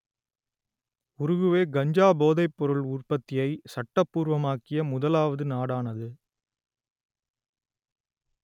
Uruguay கஞ்சா போதைப்பொருள் உற்பத்தியை சட்டபூர்வமாக்கிய முதலாவது நாடானது